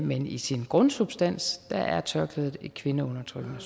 men i sin grundsubstans er tørklædet et kvindeundertrykkende